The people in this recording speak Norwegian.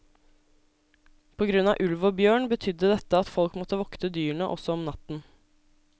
På grunn av ulv og bjørn betydde dette at folk måtte vokte dyrene også om natten.